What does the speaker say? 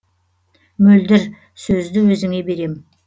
мөлдір сөзді өзіңе берем